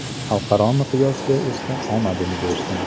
Xalqaro miqyosda esa omadini bersin.